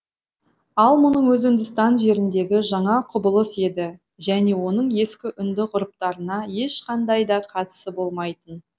ал мұның өзі үндістан жеріндегі жаңа құбылыс еді және оның ескі үнді ғұрыптарына ешқандай да қатысы болмайтын